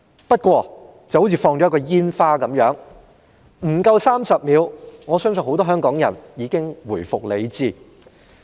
不過，情況就像施放一枚煙花般，不足30秒，很多香港人已經回復理智。